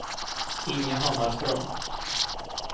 Inge Hammarström